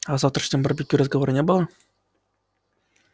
а о завтрашнем барбекю разговора не было